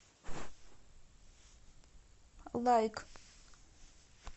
лайк